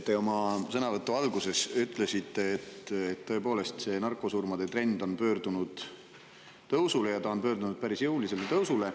Te oma sõnavõtu alguses ütlesite, et narkosurmade trend on tõepoolest pöördunud tõusule, ja ta on pöördunud päris jõulisele tõusule.